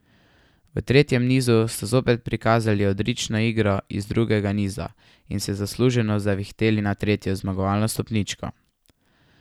V tretjem nizu sta zopet prikazali odlično igro iz drugega niza in se zasluženo zavihteli na tretjo zmagovalno stopničko.